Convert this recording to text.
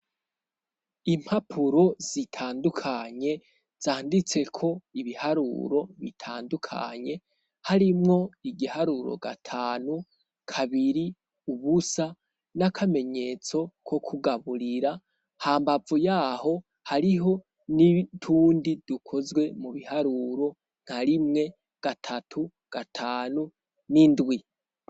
Impapuro zitandukanye zanditse ko ibiharuro bitandukanye harimwo igiharuro gatanu kabiri ubusa n'akamenyetso ko kugaburira ha mbavu yaho hariho n'itundi dukozwe mubiha ruro nka rimwe gatatu gatanu n'indwi.